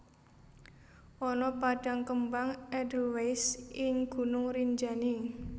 Ana padang kembang edelwais ing Gunung Rinjani